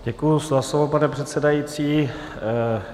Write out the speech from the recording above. Děkuji za slovo, pane předsedající.